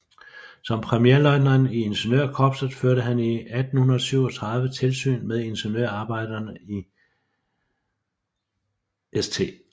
Som premierløjtnant i ingeniørkorpset førte han i 1837 tilsyn med ingeniørarbejderne i St